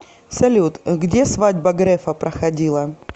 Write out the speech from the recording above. салют где свадьба грефа проходила